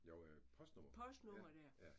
Jo postnummer